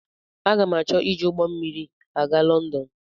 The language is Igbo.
Aga m achọ iji ụgbọ mmiri aga Lọndọn.